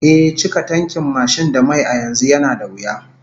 Ehh, cika tankin mashin da mai a yanzu yana da wuya